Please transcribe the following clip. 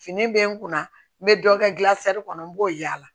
Fini bɛ n kunna n bɛ dɔ kɛ gilasi kɔnɔ n b'o yaala